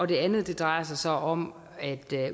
det andet drejer sig så om at